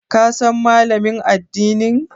Ka san Malamin addinin?